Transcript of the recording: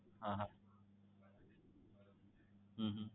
હા હા હમ હમ